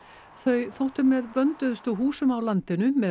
þau þóttu með vönduðustu húsum á landinu með